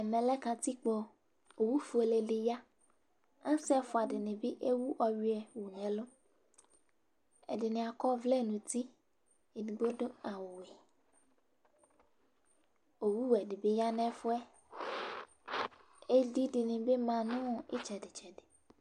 Ɛm lɛ kǝtikpo ,owu fuele dɩ ya, asɩ ɛfʋa dɩnɩ bɩ ewu ɔyʋɛ yǝ n'ɛlʋ, ɛdɩ akɔ ɔvlɛ nʋ uti, edigbo dʋ awʋ li